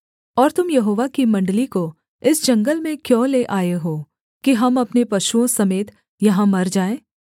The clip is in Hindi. और तुम यहोवा की मण्डली को इस जंगल में क्यों ले आए हो कि हम अपने पशुओं समेत यहाँ मर जाए